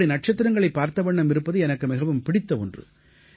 இப்படி நட்சத்திரங்களைப் பார்த்தவண்ணம் இருப்பது எனக்கு மிகவும் பிடித்த ஒன்று